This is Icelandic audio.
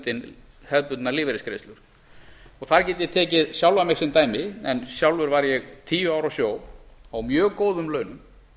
umfram hefðbundnar lífeyrisgreiðslur þar get ég tekið sjálfan mig sem dæmi en sjálfur var ég tíu ár á sjó á mjög góðum launum